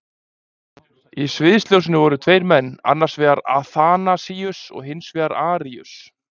Í sviðsljósinu voru tveir menn, annars vegar Aþanasíus og hins vegar Aríus.